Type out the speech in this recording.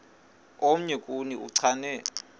omnye kuni uchane